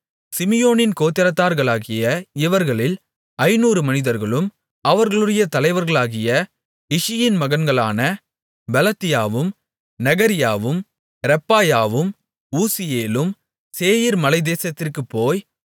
சிமியோனின் கோத்திரத்தார்களாகிய இவர்களில் ஐந்நூறு மனிதர்களும் அவர்களுடைய தலைவர்களாகிய இஷியின் மகன்களான பெலத்தியாவும் நெகரியாவும் ரெப்பாயாவும் ஊசியேலும் சேயீர் மலைத்தேசத்திற்குப் போய்